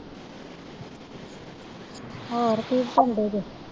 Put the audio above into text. ਹੋਰ ਕਿ ਕਰਨ ਦੇ ਜੇ